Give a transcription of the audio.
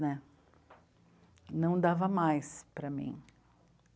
Né? Não dava mais para mim.